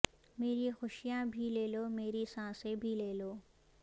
میری خوشیاں بھی لے لو میری سانسیں بھی لے لو